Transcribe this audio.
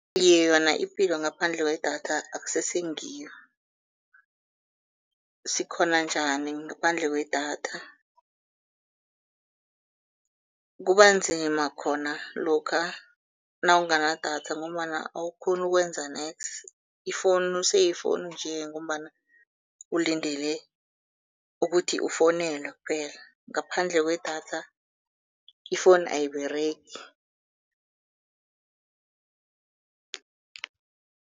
Iye, yona ipilo ngaphandle kwedatha akusese ngiyo. Sikghona njani ngaphandle kwedatha? Kuba nzima khona lokha nawungana idatha ngombana awukghoni ukwenza neksi, ifowunu seyifowunu nje ngombana ulindele ukuthi ufowunelwe kuphela, ngaphandle kwedatha ifowunu ayiberegi.